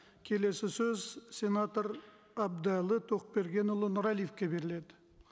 келесі сөз сенатор әбдіәлі тоқбергенұлы нұрәлиевке беріледі